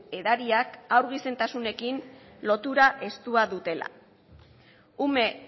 edariak haur gizentasunekin lotura estura dutela ume